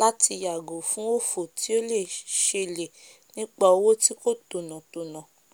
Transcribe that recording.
láti yàgò fún òfò tí o le um selè nípà òwò tí kò tònà tònà